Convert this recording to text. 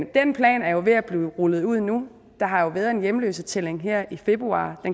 den plan er jo ved at blive rullet ud nu der har været en hjemløsetælling her i februar